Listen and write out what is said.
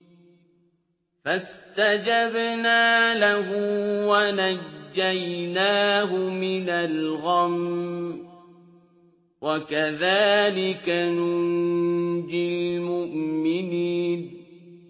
فَاسْتَجَبْنَا لَهُ وَنَجَّيْنَاهُ مِنَ الْغَمِّ ۚ وَكَذَٰلِكَ نُنجِي الْمُؤْمِنِينَ